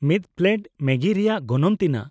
ᱢᱤᱫ ᱯᱞᱮᱴ ᱢᱮᱜᱤ ᱨᱮᱭᱟᱜ ᱜᱚᱱᱚᱝ ᱛᱤᱱᱟᱹᱜ ?